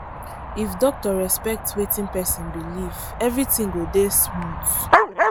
if doctor respect wetin person belief everything dey go smooth